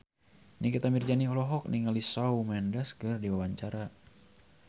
Nikita Mirzani olohok ningali Shawn Mendes keur diwawancara